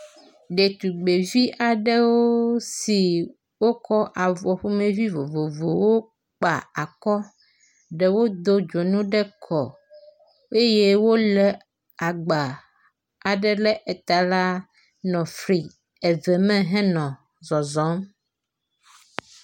Ɖetugbivi aɖewo si wokɔ avɔ ƒomevi vovovowo kpa akɔ. Ɖewo do dzonu ɖe kɔ eye wo le agba aɖe ɖe ta la nɔ fli eve me nɔ zɔzɔm.